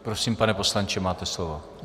Prosím, pane poslanče, máte slovo.